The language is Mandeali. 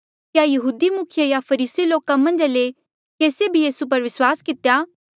क्या यहूदी मुखिये या फरीसी लोका मन्झा ले केसिए भी यीसू पर विस्वास कितेया